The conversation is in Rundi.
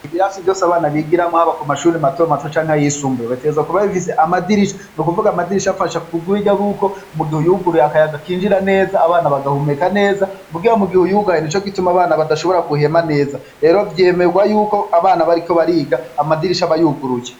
Ibiyasi vyose abana bigiramwo haba ko mashuri matoa mato canke ayishumbuye baterza kubabifise amadirisha ni ukuvuga amadirisha abafasha kubwa ubirya b'uko mu gihe uyuguruye akayaga kinjira neza abana bagahumeka neza mugiha mu gihe uyuganye ni co gituma abana badashobora guhema neza rero vyemerwa yuko abana bariko bariga amadirisha bayuguruke.